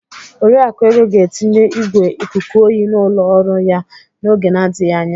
Oriakụ Ego ga-etinye igwé ikuku oyi n'ụlọ ọrụ ya n'oge na-adịghị anya.